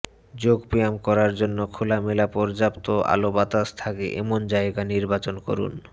যোগব্যায়াম করার জন্য খোলামেলা পর্যাপ্ত আলোবাতাস থাকে এমন জায়গা নির্বাচন করুন